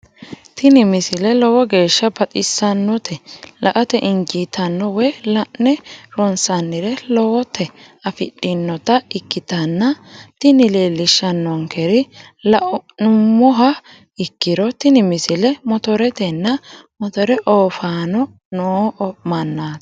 tini misile lowo geeshsha baxissannote la"ate injiitanno woy la'ne ronsannire lowote afidhinota ikkitanna tini leellishshannonkeri la'nummoha ikkiro tini misile motoretenna motore ooffaanno noo mannaati.